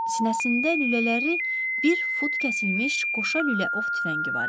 Sinəsində lülələri bir fut kəsilmiş qoşa lülə ov tüfəngi var idi.